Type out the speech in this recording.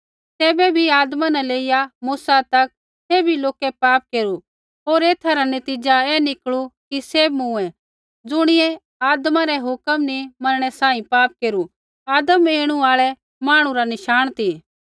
तैबै भी आदमा न लेईया मूसा तक सैभी लोकै पाप केरू होर ऐथा रा नतीज़ा ऐ निकलू कि सैभ मूँऐ ज़ुणियै आदमा रै हुक्म नी मनणै सांही पाप केरू आदम ऐणु आल़ै मांहणु रा नशाण ती